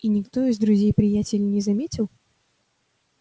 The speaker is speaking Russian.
и никто из друзей-приятелей не заметил